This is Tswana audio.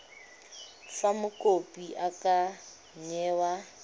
fa mokopi a ka newa